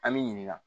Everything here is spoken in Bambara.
An bɛ ɲininka